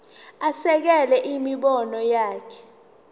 asekele imibono yakhe